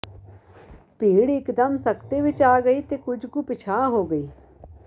ਭੀੜ ਇਕ ਦਮ ਸਕਤੇ ਵਿੱਚ ਆ ਗਈ ਤੇ ਕੁੱਝ ਕੁ ਪਿਛਾਂਹ ਹੋ ਗਈ